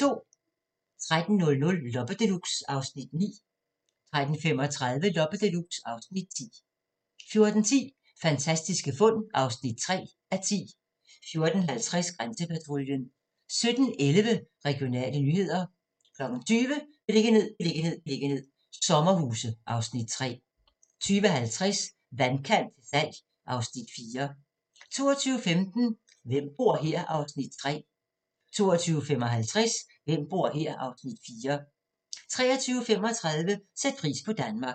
13:00: Loppe Deluxe (Afs. 9) 13:35: Loppe Deluxe (Afs. 10) 14:10: Fantastiske fund (3:10) 14:50: Grænsepatruljen 17:11: Regionale nyheder 20:00: Beliggenhed, beliggenhed, beliggenhed - sommerhuse (Afs. 3) 20:50: Vandkant til salg (Afs. 4) 22:15: Hvem bor her? (Afs. 3) 22:55: Hvem bor her? (Afs. 4) 23:35: Sæt pris på Danmark